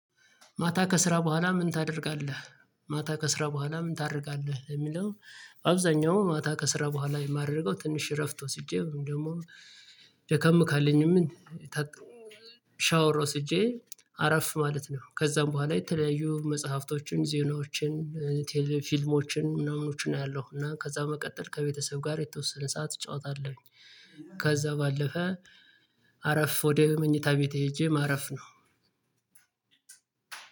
ማታ ከስራ በኋላ ምን ታደርጋለህ? ማታ ከስራ በኋላ ምን ታደርጋለህ ለሚለው። በአብዛኛው ማታ ከስራ በኋላ የማደርገው ትንሽ እረፍት ወስጄ ወይም ደግሞ ደከም ካለኝም ከክ ሻወር ወስጄ አረፍ ማለት ነው። ከዛም በኋላ የተለያዩ መጽሐፍቶችን ዜናዎችን ቲልቪው ፊልሞችን ምናምኖችን አያለሁ እና ከዛ በመቀጠል ከቤተሰብ ጋር የተወሰነ ሰዓት እጫወታለሁኝ። ከዛ ባለፈ አረፍ ወደ መኝታ ቤቴ ሄጄ ማረፍ ነው።